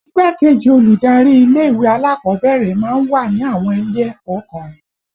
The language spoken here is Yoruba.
Igbá-kejì olùdarí ilé ìwé alákọ̀ọ́bẹ̀rẹ̀ máa ń wà ní àwọn ilé ẹ̀kọ́ kan